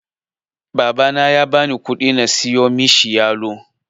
Babana ya bani ƙudi na siyo mishi yalo.